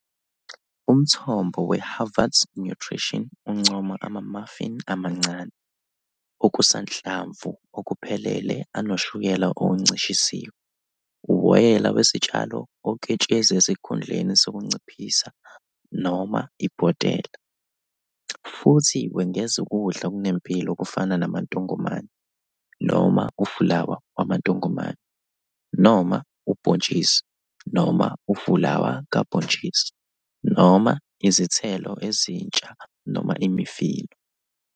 Umthombo weHarvard's Nutrition uncoma ama-muffin amancane, okusanhlamvu okuphelele anokushukela okuncishisiwe, uwoyela wesitshalo oketshezi esikhundleni sokunciphisa noma ibhotela, futhi wengeza ukudla okunempilo okufana namantongomane noma ufulawa wamantongomane, noma ubhontshisi, noma ufulawa kabhontshisi, noma izithelo ezintsha noma imifino.